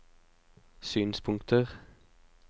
synspunkter